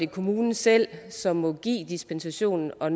kommunen selv som må give dispensation og